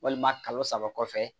Walima kalo saba kɔfɛ